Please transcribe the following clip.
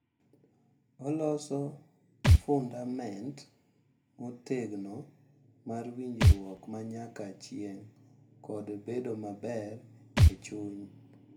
Oloso fundament motegno mar winjruok ma nyaka chieng’ kod bedo maber e chuny.